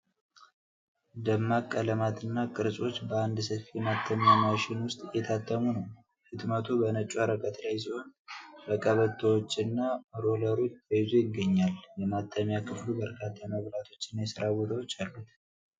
ደማቅ ቀለማትና ቅርጾች በአንድ ሰፊ የማተሚያ ማሽን ውስጥ እየታተሙ ነው። ህትመቱ በነጭ ወረቀት ላይ ሲሆን፣ በቀበቶዎችና ሮለሮች ተይዞ ይገኛል። የማተሚያ ክፍሉ በርካታ መብራቶችና የሥራ ቦታዎች አሉት።